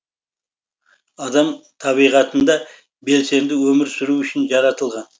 адам табиғатында белсенді өмір сүру үшін жаратылған